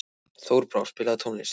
Þorbrá, spilaðu tónlist.